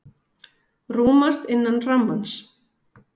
Rúmast innan rammans